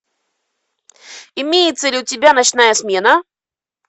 имеется ли у тебя ночная смена